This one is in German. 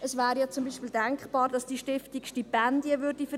Es wäre zum Beispiel denkbar, dass die Stiftung Stipendien vergeben würde.